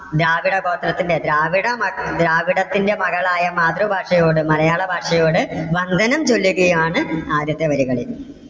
ദ്രാവിഡ ഗോത്രത്തിന്റെ ദ്രാവിഡമ ദ്രാവിഡത്തിന്റെ മകളായ മാതൃഭാഷയോട് മലയാള ഭാഷയോട് വന്ദനം ചൊല്ലുകയാണ് ആദ്യത്തെ വരികളിൽ.